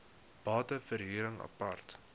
bate verhuring apart